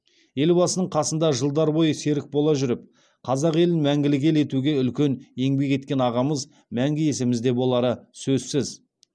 елбасының қасында жылдар бойы серік бола жүріп қазақ елін мәңгілік ел етуге үлкен еңбек еткен ағамыз мәңгі есімізде болары сөзсіз